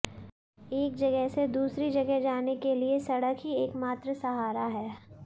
एक जगह से दूसरी जगह जाने के लिए सडक़ ही एकमात्र सहारा है